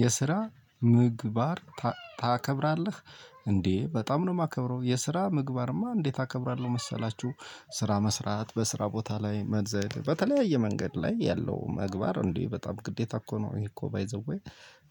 የስራ ምግባር ታከብራለህ? እንዴ በጣም ነው ማከብረው የስራ ምግባርማ እንዴት አከብራለሁ መሰላችሁ። ስራ መስራት በስራ ቦታ ላይ መዘል በተለያየ መንገድ ላይ ያለው መግባር እንዲህ በጣም ግዴታ እኮ ነው ይሄ እኮ ባይ ዘ ዌይ።